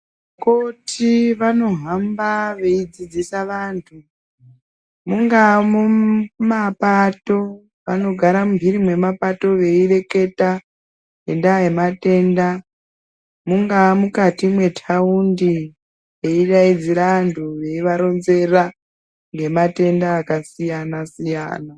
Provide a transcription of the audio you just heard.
Koti vanohamba veidzidzisa vantu. Mungaa mumapato vanogara mumhiri mwemapato veireketa ngendaa yematenda. Mungaa mukati mwetaundi veidaidzira vantu veivaronzera ngematenda akasiyana -siyana.